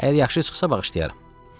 Əgər yaxşı çıxsa, bağışlayaram.